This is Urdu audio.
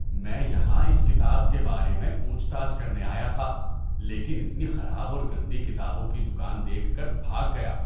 میں یہاں اس کتاب کے بارے میں پوچھ تاچھ کرنے آیا تھا لیکن اتنی خراب اور گندی کتابوں کی دکان دیکھ کر بھاگ گیا۔